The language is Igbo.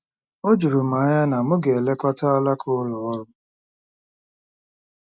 O juru m anya na m ga-elekọta alaka ụlọ ọrụ.